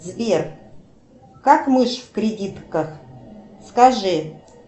сбер как мышь в кредитках скажи